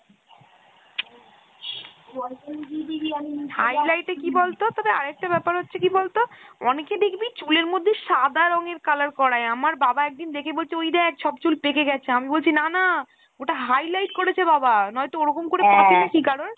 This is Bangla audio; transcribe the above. highlight এ কি বলতো তবে আরেকটা ব্যাপার হচ্ছে কি বলতো অনেকে দেখবি চুলের মধ্যে সাদা রঙের color করায় আমার বাবা একদিন দেখে বলছে ওই দেখ সব চুল পেঁকে গেছে , আমি বলছি না না ওটা highlight করেছে বাবা নয়তো ওরকম করে পাঁকে নাকি কারোর ?